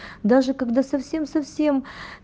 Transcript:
даже когда совсем совсем